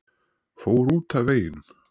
Fór út af veginum